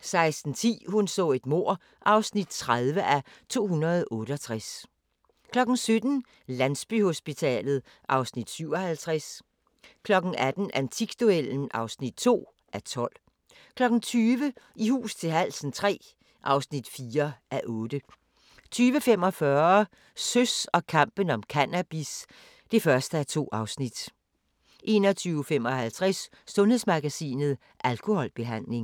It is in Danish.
16:10: Hun så et mord (30:268) 17:00: Landsbyhospitalet (Afs. 57) 18:00: Antikduellen (2:12) 20:00: I hus til halsen III (4:8) 20:45: Søs og kampen om cannabis (1:2) 21:55: Sundhedsmagasinet: Alkoholbehandling